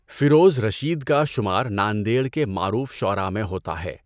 فیروز رشید کا شمار ناندیڑ کے معروف شُعَراء میں ہوتا ہے۔